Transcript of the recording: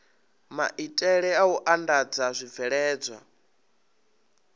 maitele a u andadza zwibveledzwa